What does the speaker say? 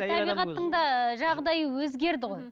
табиғаттың да жағдайы өзгерді ғой